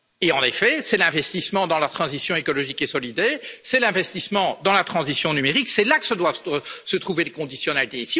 En effet, c'est dans l'investissement dans la transition écologique et solidaire et dans l'investissement dans la transition numérique que doivent se trouver les conditionnalités.